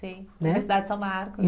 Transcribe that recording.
Sim, Universidade de São Marcos.